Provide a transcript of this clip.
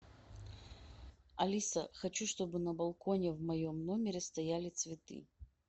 алиса хочу чтобы на балконе в моем номере стояли цветы